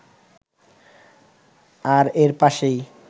আর এর পাশেই